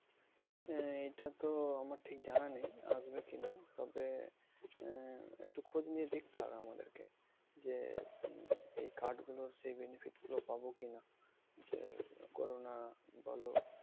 আহ এটা তো আমার ঠিক জানা নেই। আসবে কি না? তবে আহ একটু খোঁজ নিয়ে দেখতে হবে আমাদেরকে যে, এই card গুলোর সেই benefit গুলো পাবো কি না? যে corona বলো